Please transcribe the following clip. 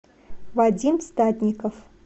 вадим статников